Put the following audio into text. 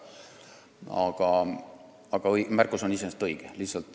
Aga märkus on iseenesest õige.